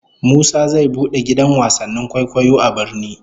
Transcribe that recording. Musa zai bude gidan wasannin kwaikwayo a birni